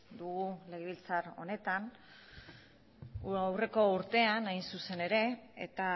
dugu legebiltzar honetan aurreko urtean hain zuzen ere eta